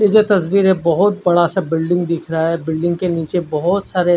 ये जो तस्वीर है बहुत बड़ा सा बिल्डिंग दिख रहा है बिल्डिंग के नीचे बहुत सारे--